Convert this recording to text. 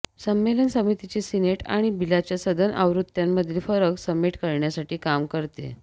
संमेलन समितीची सीनेट आणि बिलच्या सदन आवृत्त्यांमधील फरक समेट करण्यासाठी काम करते